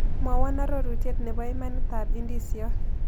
Mwawon arorutiet ne po imaniitap indisiot